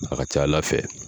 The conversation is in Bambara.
A ka ca Ala fɛ